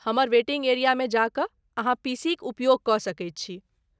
हमर वेटिंग एरियामे जा कऽ अहाँ पीसीक उपयोग कऽ सकैत छी।